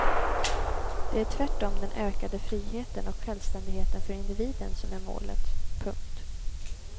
Det är tvärtom den ökade friheten och självständigheten för individen som är målet. punkt